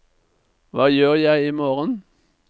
hva gjør jeg imorgen